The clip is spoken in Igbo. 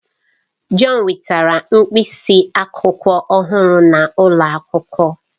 John wetara mkpịsị akwụkwọ ọhụrụ n'ụlọ akwụkwọ.